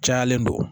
Cayalen don